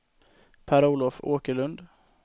Per-Olof Åkerlund